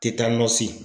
Tɛ taa nɔ si